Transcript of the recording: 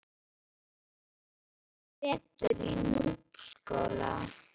Ég var tvo vetur í Núpsskóla.